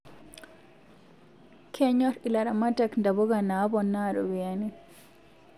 Kenyor ilaramatak ntapuka napoona ropiani